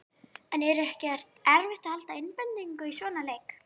En er ekki erfitt að halda einbeitingu í svona leik?